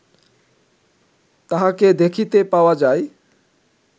তাঁহাকে দেখিতে পাওয়া যায়